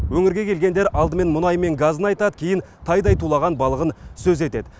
өңірге келгендер алдымен мұнайы мен газын айтады кейін тайдай тулаған балығын сөз етеді